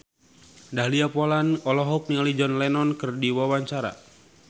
Dahlia Poland olohok ningali John Lennon keur diwawancara